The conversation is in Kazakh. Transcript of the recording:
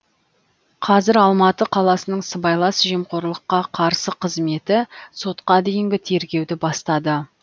қазір алматы қаласының сыбайлас жемқорлыққа қарсы қызметі сотқа дейінгі тергеуді бастады